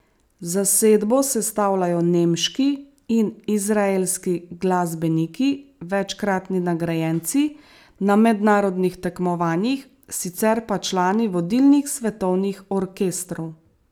Zasedbo sestavljajo nemški in izraelski glasbeniki, večkratni nagrajenci na mednarodnih tekmovanjih, sicer pa člani vodilnih svetovnih orkestrov.